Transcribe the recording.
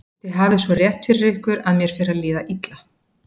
Þið hafið svo rétt fyrir ykkur að mér fer að líða illa.